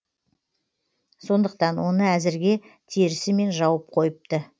сондықтан оны әзірге терісімен жауып қойыпты